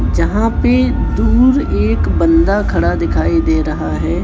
जहां पे दूर एक बंदा खड़ा दिखाई दे रहा है।